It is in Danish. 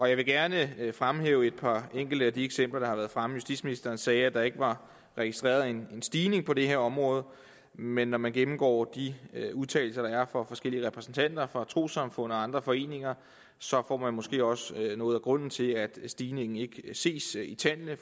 jeg vil gerne fremhæve et par enkelte af de eksempler der har været fremme justitsministeren sagde at der ikke var registreret en stigning på det her område men når man gennemgår de udtalelser der er fra forskellige repræsentanter for trossamfund og andre foreninger så får man måske også noget af grunden til at stigningen ikke ses i tallene